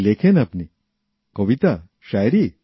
কী লেখেন আপনি কবিতা শায়েরী